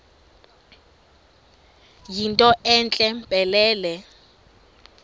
yinto entle mpelele